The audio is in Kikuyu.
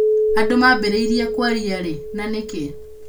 Andũ maambĩrĩirie kwaria rĩ, na nĩkĩ?